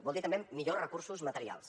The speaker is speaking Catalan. vol dir també millors recursos materials